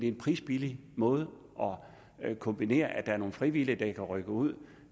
en prisbillig måde at kombinere tingene så der er nogle frivillige der kan rykke ud